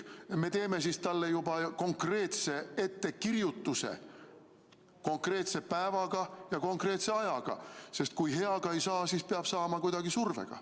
Me teeme siis talle juba konkreetse ettekirjutuse konkreetse päevaga ja konkreetse ajaga, sest kui heaga ei saa, siis peab saama kuidagi survega.